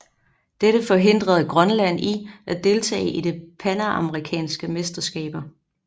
Dette forhindrede Grønland i at deltage i det panamerikanske mesterskaber